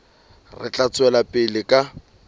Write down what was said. re tla tswela pele ka